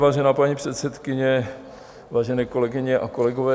Vážená paní předsedkyně, vážené kolegyně a kolegové.